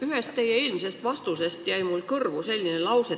Ühest teie eelmisest vastusest jäi mulle kõrvu selline lause.